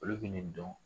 Olu bɛ ne dɔn